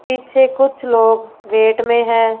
पीछे कुछ लोग गेट में हैं।